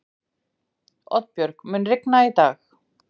Oddbjörg, mun rigna í dag?